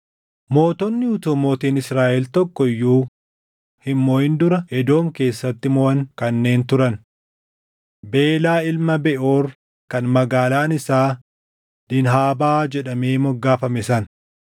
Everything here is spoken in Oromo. Mootonni utuu mootiin Israaʼel tokko iyyuu hin moʼin dura Edoom keessatti moʼan kanneen turan: Belaa ilma Beʼoor kan magaalaan isaa Diinhaabaa jedhamee moggaafame sana.